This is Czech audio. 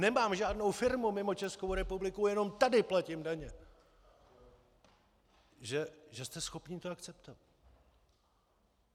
"Nemám žádnou firmu mimo Českou republiku, jenom tady platím daně!" - že jste schopni to akceptovat.